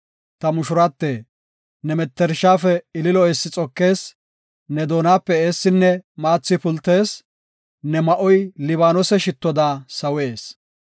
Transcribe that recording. Ta mushurate, ne mettershafe ililo eessi xokees; Ne doonape eessinne maathi pultees; ne ma7oy Libaanose shittoda sawees.